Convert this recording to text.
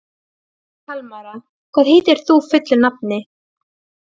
Hann Egil minn hef ég þekkt síðan í skóla.